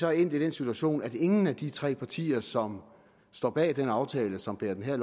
er endt i den situation at ingen af de tre partier som står bag den aftale som bærer det her